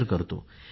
share करतो